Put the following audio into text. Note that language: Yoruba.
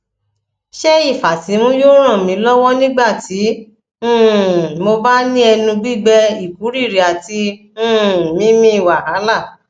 ṣé ifasimu yoo ran mi lowo nigbati um mo ba ni enu gbigbe ikuriri ati um mímí wàhálà